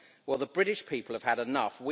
Well, the British people have had enough.